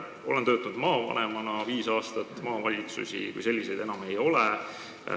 Olen töötanud viis aastat maavanemana, maavalitsusi kui selliseid enam ei ole.